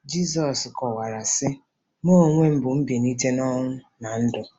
Jizọs kọwara, sị: “ Mụ onwe m bụ mbilite n'ọnwụ na ndụ.